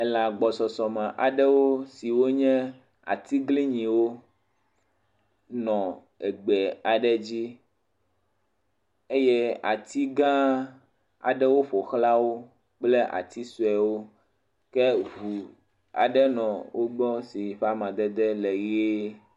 elã agbɔsɔsɔme aɖewo siwó nye atsiglinyiwo nɔ gbe aɖe dzi eye atigã aɖewo ƒoxlã wó kple ati soewo ke ʋu aɖe nɔ wógbɔ si ƒe amadede le yie